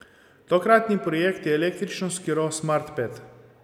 Tokratni projekt je električni skiro Smart Ped.